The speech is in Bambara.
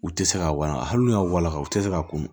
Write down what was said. U tɛ se ka walahi hali n'u y'a walankatɛ u tɛ se ka kun